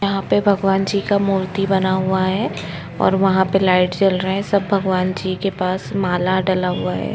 यहाँ पे भगवान जी का मूर्ति बना हुआ है और वहाँ पे लाइट्स जल रहे है सब भगवान जी के पास माला डला हुआ है।